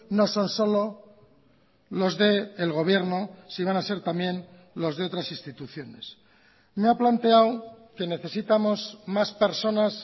no son solo los del gobierno sí van a ser también los de otras instituciones me ha planteado que necesitamos más personas